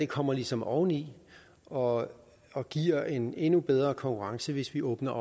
kommer ligesom oveni og og giver en endnu bedre konkurrence hvis vi åbner